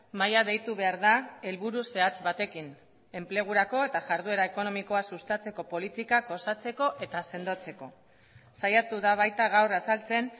mahaia deitu behar da helburu zehatz batekin enplegurako eta jarduera ekonomikoa sustatzeko politikak osatzeko eta sendotzeko saiatu da baita gaur azaltzen